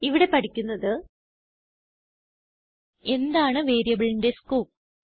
ഇവിടെ പഠിക്കുന്നത് എന്താണ് വേരിയബിളിന്റെ സ്കോപ്പ്